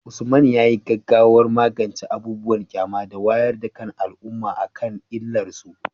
Usman, yayi gaggawar magance abubuwan ƙyama da wayar da kan al’umma akan illar su.